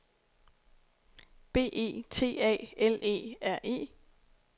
B E T A L E R E